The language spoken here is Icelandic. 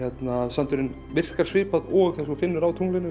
sandurinn virkar svipað og og þú finnur á